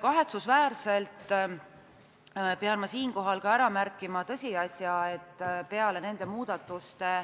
Kahetsusväärselt pean siinkohal ka ära märkima tõsiasja, et peale nende muudatuste